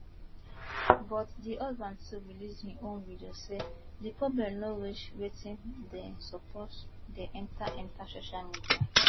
but di husband too release im own video say di problem no reach wetin dem suppose dey enta enta social media